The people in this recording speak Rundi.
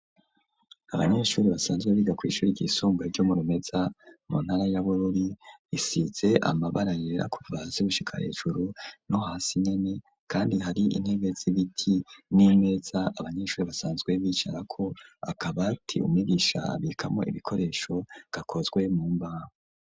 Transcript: Abanyeshuri, basanzwe biga, kw'ishuri ryisumbuye, ryo mu Rumeza, mu ntara ya Bururi, risize amabara yera, kuva hasi, gushika hejuru, no hasi nyene; kandi, hari intebe z'ibiti, n'imeza abanyeshuri, basanzwe bicarako, akabati, umwigisha abikamwo ibikoresho, gakozwe mu mbaho.